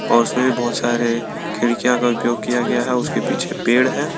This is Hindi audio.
और उसमें भी बहुत सारे खिड़कियां का उपयोग किया गया है उसके पीछे पेड़ है।